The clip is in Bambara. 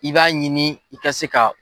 I b'a ɲini i ka se ka